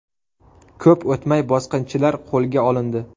Ko‘p o‘tmay bosqinchilar qo‘lga olindi.